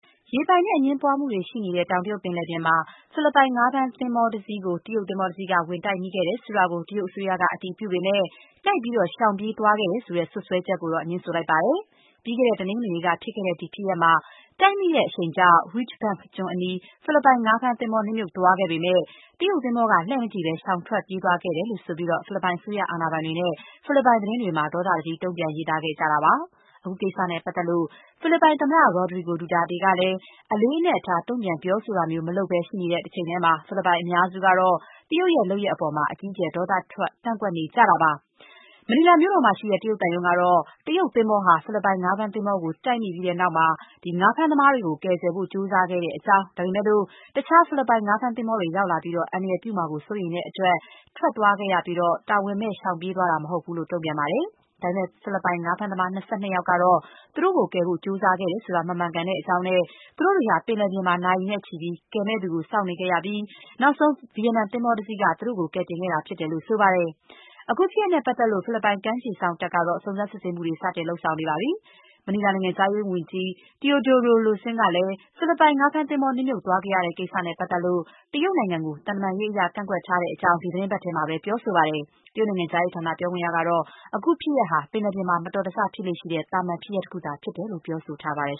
ရေပိုင်နက်အငြင်းပွားမှုတွေ ရှိနေတဲ့ တောင်တရုတ်ပင်လယ်ပြင်မှာ ဖိလစ်ပိုင်ငါးဖမ်းသင်္ဘောကို တရုတ်သင်္ဘောတစီးက ဝင်တိုက်မိခဲ့တယ်ဆိုတာကို တရုတ်အစိုးရက အတည်ပြုပေမဲ့ တိုက်ပြီး ရှောင်ပြေးသွားခဲ့တယ်ဆိုတဲ့ စွပ်စွဲချက်ကိုတော့ ငြင်းဆိုလိုက်ပါတယ်။ ပြီးခဲ့တဲ့ တနင်္ဂနွေနေ့က ဖြစ်ခဲ့တဲ့ ဒီဖြစ်ရပ်မှာ တိုက်မိတဲ့ အရှိန်ကြောင့် Reed Bank ကျွန်းအနီး ဖိလစ်ပိုင် ငါးဖမ်းသင်္ဘော နစ်မြှုပ်သွားခဲ့ပေမဲ့ တရုတ်သင်္ဘောက လှည့်မကြည့်ဘဲ ရှောင်ပြေး ထွက်သွားခဲ့တယ်လို့ ဆိုပြီး ဖိလစ်ပိုင်အစိုးရအာဏာပိုင်တွေနဲ့ ဖိလစ်ပိုင်သတင်းတွေမှာ ဒေါသတကြီး တုံ့ပြန်ပြောဆိုနေကြတာပါ။ အခုကိစ္စနဲ့ပတ်သက်လို့ ဖိလစ်ပိုင်သမ္မတ Rodrigo Duterte ကလည်း အလေးအနက် တုံ့ပြန်ပြောဆိုတာမျိုး မလုပ်ဘဲ ရှိနေတဲ့တချိန်တည်းမှာပဲ ဖိလစ်ပိုင်အများစုကတော့ တရုတ်ရဲ့လုပ်ရပ်အပေါ် အကြီးအကျယ် ဒေါသထွက် ကန့်ကွက်နေကြတာပါ။ မနီလာမြို့မှာရှိတဲ့ တရုတ်သံရုံးကတော့ တရုတ်သင်္ဘောဟာ ဖိလစ်ပိုင်ငါးဖမ်းသင်္ဘောကို တိုက်မိခဲ့ပြီးတဲ့နောက် ဖိလစ်ပိုင်ငါးဖမ်းသမားတွေကို ကယ်ဆယ်ဖို့ ကြိုးစားခဲ့တဲ့အကြောင်း ဒါပေမဲ့လို့ တခြား ဖိလစ်ပိုင် ငါးဖမ်းသင်္ဘောတွေ ရောက်လာပြီး အန္တရာယ်ပြုမှာကို စိုးရိမ်ရတဲ့အတွက် ထွက်သွားခဲ့ရပြီး တာဝန်မဲ့ ရှောင်ပြေးသွားတာ မဟုတ်ဘူးလို့ တုံ့ပြန်ပါတယ်။ ဒါပေမဲ့ ဖိလစ်ပိုင် ငါးဖမ်းသမား ၂၂ ယောက်ကတော့ သူတို့ကိုကယ်ဖို့ ကြိုးစားခဲ့တယ်ဆိုတာ မမှန်ကန်ကြောင်းနဲ့ သူတို့တွေဟာ ပင်လယ်ပြင်မှာ နာရီနဲ့ချီပြီး ကယ်မယ့်သူကို စောင့်ခဲ့ရပြီး နောက်ဆုံး ဗီယက်နန်သင်္ဘောတစီးက သူတို့ကို ကယ်တင်ခဲ့တာဖြစ်တယ်လို့ ဆိုပါတယ်။ အခုဖြစ်ရပ်နဲ့ ပတ်သက်လို့ ဖိလစ်ပိုင် ကမ်းခြေစောင့်တပ်ကတော့ စုံစမ်းစစ်ဆေးမှုတွေ စတင်လုပ်ဆောင်နေပါတယ်။ မနီလာနိုင်ငံခြားရေးဝန်ကြီး Teodoro Loscin ကလည်း ဖိလစ်ပိုင် ငါးဖမ်းသင်္ဘော နစ်မြှုပ်သွားခဲ့ရတဲ့ ကိစ္စနဲ့ပတ်သက်ပြီး တရုတ်နိုင်ငံကို သံတမန်ရေးအရ ကန့်ကွက်ထားတဲ့ အကြောင်း ဒီသီတင်းပတ်ထဲမှာပဲ ပြောဆိုပါတယ်။ တရုတ်နိုင်ငံခြားရေးဌာန ပြောခွင့်ရကတော့ အခုဖြစ်ရပ်ဟာ ပင်လယ်ပြင်မှာ မတော်တဆဖြစ်လေ့ရှိတဲ့ သာမန် ဖြစ်ရပ်တခုသာဖြစ်တယ်လို့ ပြောဆိုထားပါတယ်